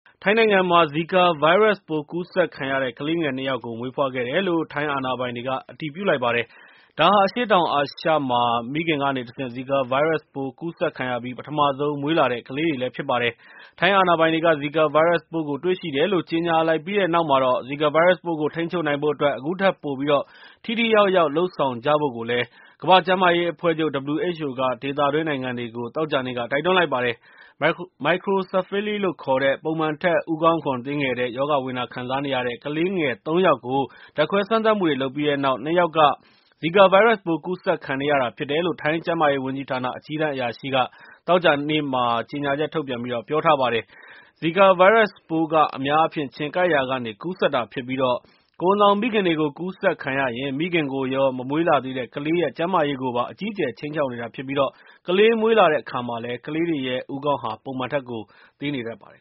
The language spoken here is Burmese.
ထိုင်းနိုင်ငံမှာ ဇီကာဗိုင်းရပ်စ်ပိုး ကူးစက်ခံရတဲ့ ကလေးငယ် ၂ ယောက် မွေးဖွားခဲ့တယ်လို့ ထိုင်းအာဏာပိုင်တွေက အတည်ပြုလိုက်ပါတယ်။ အရှေ့တောင်အာရှမှာ ဒါဟာ မိခင်ကနေတဆင့် ဇီကာဗိုင်းရပ်စ်ပိုးကူးစက်ခံရပြီး ပထမဆုံး မွေးလာတဲ့ ကလေးတွေ ဖြစ်ပါတယ်။ ထိုင်းအာဏာပိုင်တွေက ဇီကာဗိုင်းရပ်စ်ပိုးကို တွေ့ရှိတယ်လို့ ကြေညာလိုက်ပြီးတဲ့နောက်မှာတော့ ဇီကာဗိုင်းရပ်စ်ပိုးကို ထိန်းချုပ်နိုင်ဖို့အတွက် အခုထက်ပိုပြိး ထိထိရောက်ရောက်လုပ်ဆောင်ကြဖို့ ကမ္ဘာ့ကျန်းမာရေးအဖွဲ့ချုပ် (WHO)က ဒေသတွင်းနိုင်ငံတွေကို သောကြာနေ့က တိုက်တွန်းလိုက်ပါတယ်။ Microcephaly လို့ခေါ်တဲ့ ပုံမှန်ထက် ဦးခေါင်းခွံသေးငယ်တဲ့ ရောဂါဝေဒနာ ခံစားနေရတဲ့ ကလေးငယ် ၃ ယောက်ကို ဓာတ်ခွဲစမ်းသပ်မှုတွေ လုပ်ပြီးတဲ့နောက် ၂ ယောက်က ဇီကာဗိုင်းရပ်ပိုး ကူးစက်ခံနေရတာ ဖြစ်တယ်လို့ ထိုင်းကျန်းမာရေး ဝန်ကြီးဌာနက အကြီးတန်းအရာရှိက သောကြာနေ့က ကြေညာချက်မှာ ပြော ထားပါတယ်။ ဇီကာဗိုင်းရပ်စ်ပိုးက အများအားဖြင့် ခြင်ကိုက်ရာကနေ ကူးစက်တာဖြစ်ပြီး၊ ကိုယ်ဝန်ဆောင်မိခင်တွေကို ကူးစက်ခံရရင် မိခင်ကိုရော မမွေးလာသေးတဲ့ ကလေးရဲ့ ကျန်းမာရေးကို အကြီးအကျယ်ခြိမ်းခြောက်နေတာဖြစ်ပြီး ကလေးမွေးလာတဲ့အခါမှာလည်း ကလေးတွေရဲ့ ဦးခေါင်းဟာ ပုံမှန်ထက်ကို သေးနေတတ်ပါတယ်